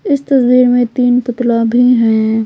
इस तस्वीर में तीन पुतला भी हैं।